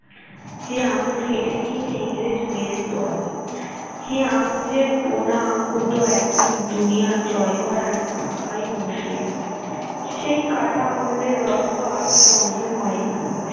যে আঙ্গুল কেটে নিয়েছে ইংরেজ দল সে আঙ্গুলের বোনা হত একদিন দুনিয়া জয় করার ঢাকাই মসলিন সেই কাটা আঙ্গুলের রক্ত আজ ও বন্ধ হয়নি